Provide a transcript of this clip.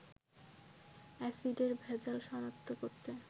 অ্যাসিডের ভেজাল শনাক্ত করতে